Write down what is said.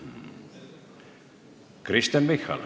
Kristen Michal.